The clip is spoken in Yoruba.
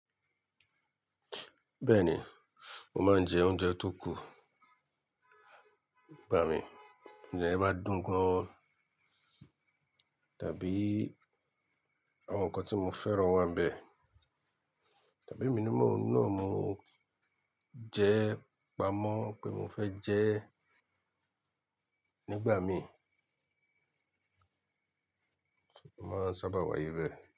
Bẹ́ẹ̀ni, mo máa ń jẹ oúnjẹ tó kù nígbà mi. Ti Oúnjẹ ye bá dùn gan, tàbí àwọn nǹkan tí mo fẹ́ràn wà níbẹ̀. Tàbí emí na ní mọ̀ jẹ́ pa mọ́ pé mo fẹ́ jẹ nígbà mi, mo máa ń sábà wáyé bẹ́ẹ̀